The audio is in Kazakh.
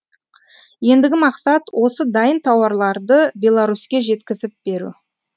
ендігі мақсат осы дайын тауарларды беларуське жеткізіп беру